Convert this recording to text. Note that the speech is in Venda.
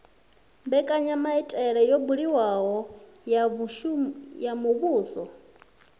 mbekanyamaitele yo buliwaho ya muvhuso